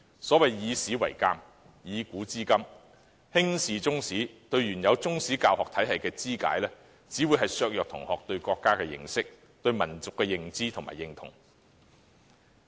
所謂"以史為鑒，以古知今"，輕視中史及對原有中史教學體系的肢解，只會削弱同學對國家的認識，以及對民族的認知和認同。